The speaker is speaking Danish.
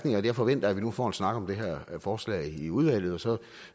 jeg forventer at vi nu får en snak om det her forslag i udvalget og så